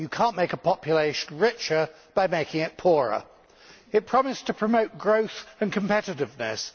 You cannot make a population richer by making it poorer. It promised to promote growth and competitiveness.